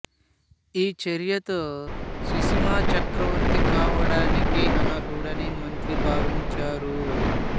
ఈ చర్యతో సుశిమా చక్రవర్తి కావడానికి అనర్హుడని మంత్రి భావించారు